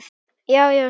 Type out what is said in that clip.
Já, já, Siggi minn.